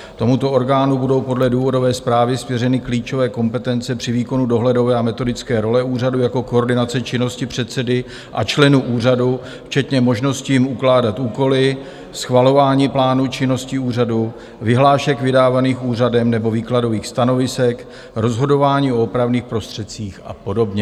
Tomuto orgánu budou podle důvodové zprávy svěřeny klíčové kompetence při výkonu dohledové a metodické role úřadu, jako koordinace činnosti předsedy a členů úřadu včetně možnosti jim ukládat úkoly, schvalování plánu činnosti úřadu, vyhlášek vydávaných úřadem nebo výkladových stanovisek, rozhodování o opravných prostředcích a podobně.